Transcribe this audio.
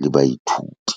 le baithuti.